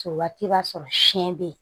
Se waati b'a sɔrɔ siɲɛ bɛ yen